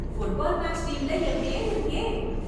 Football match டீம்ல என் பெரு இருக்கே.